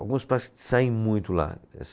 Alguns pratos que saem muito lá.